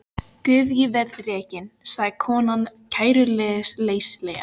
Guð ég verð rekin, sagði konan kæruleysislega.